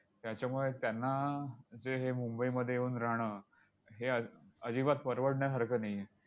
त्याच्यामुळे त्यांना ते हे मुंबईमध्ये येऊन राहणं, हे अ अजिबात परवडण्यासारखं नाही आहे.